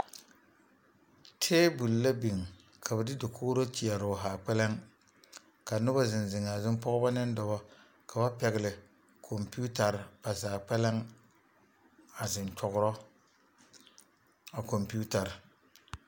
Tabol la biŋ ka ba de dokori teɛroo zaa, ka noba zeŋ zeŋaa zuŋ pɔgeba ne Dɔba ka ba pɛgele komputarre ba zaa kpɛlem, a zeŋ nyɔgeroo a kmputarre.